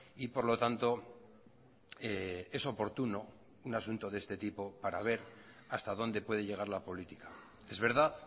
y por lo tanto es oportuno un asunto de este tipo para ver hasta dónde puede llegar la política es verdad